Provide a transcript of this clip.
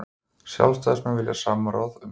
Sjálfstæðismenn vilja samráð um trúmál